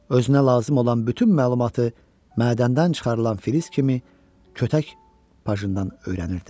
Özünə lazım olan bütün məlumatı mədəndən çıxarılan filiz kimi kötək pajından öyrənirdi.